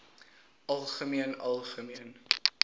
algemeen algemeen